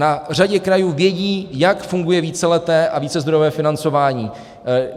Na řadě krajů vědí, jak funguje víceleté a vícezdrojové financování.